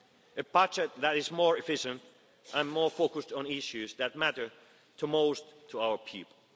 future. A budget that is more efficient and more focused on issues that matter the most to our